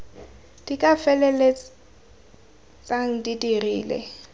di ka feleltsang di dirile